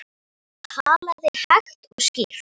Hann talaði hægt og skýrt.